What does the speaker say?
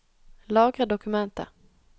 Lagre dokumentet